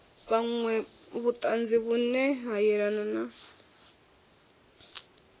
vhunwe vhutanzi vhune ha yelana